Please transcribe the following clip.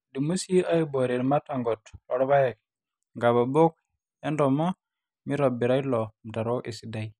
eidimi sii aaiboore irmatangot loorpaek, inkabobok entooma meitobirra ilo mutaro esidai